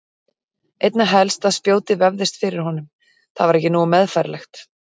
Einna helst að spjótið vefðist fyrir honum, það var ekki nógu meðfærilegt.